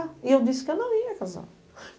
E eu disse que eu não ia casar.